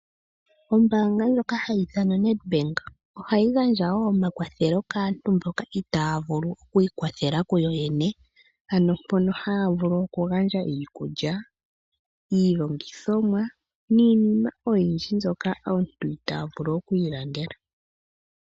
Ombaanga ndjoka hayi ithanwa Nedbank ohayi gandja wo omakwathelo kaantu mboka itaya vulu okwiikwathela kuyoyene ano mpono haya vulu okugandja iikulya, iilongithomwa niinima oyindji mbyoka aantu itaya vulu okwiilandela.